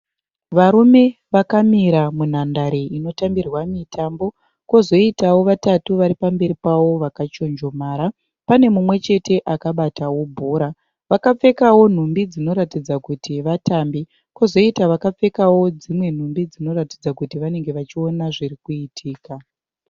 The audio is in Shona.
Varume vakamira munhandare inotambirwa mitambo. Kozoitawo vatatu varipamberi pavo vakachonjomara. Pane mumwechete akabatawo bhora. Vakapfekawo nhumbi dzinoratidza kuti vatambi. Kozoita vakapfekawo dzimwe nhumbi dzinoratidza kuti vanenge vachiona zviri kuitika .